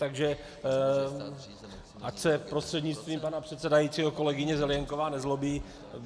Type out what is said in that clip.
Takže ať se, prostřednictvím pana předsedajícího kolegyně Zelienková, nezlobí.